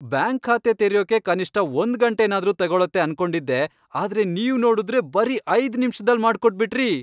Bank ಖಾತೆ ತೆರ್ಯೋಕೆ ಕನಿಷ್ಠ ಒಂದ್ಗಂಟೆನಾದ್ರೂ ತಗೊಳತ್ತೆ ಅನ್ಕೊಂಡಿದ್ದೆ. ಆದ್ರೆ ನೀವ್ ನೋಡುದ್ರೆ ಬರೀ ಐದ್ ನಿಮಿಷ್ದಲ್ ಮಾಡ್ಕೊಟ್ಬಿಟ್ರಿ!